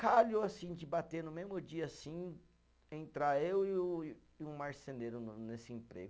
Calhou assim, de bater no mesmo dia assim, entrar eu e o, e um marceneiro no nesse emprego.